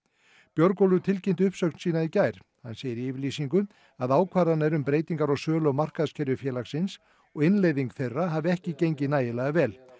Björgólfur tilkynnti uppsögn sína í gær hann segir í yfirlýsingu að ákvarðanir um breytingar á sölu og markaðskerfi félagsins og innleiðing þeirra hafi ekki gengið nægilega vel